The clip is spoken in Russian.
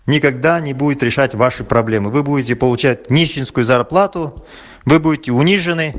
никогда не будет решать ваши проблемы вы будете получать нищенскую зарплату вы будете унижены